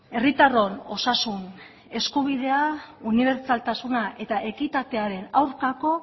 herritarron osasun eskubidea unibertsaltasuna eta ekitatearen aurkako